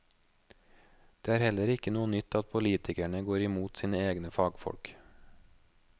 Det er heller ikke noe nytt at politikerne går imot sine egne fagfolk.